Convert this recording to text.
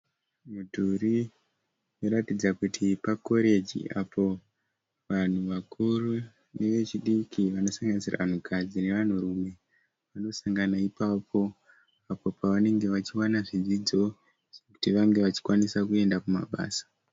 Mudhuri unoratidza kuti pakoreji apo vanhu vakuru nevechidiki vanosanganisira vanhukadzi nevanhurume vanosangana ipapo apo pavanenge vachiwana zvidzidzo kuti vange vachikwanisa kuenda kumabasa.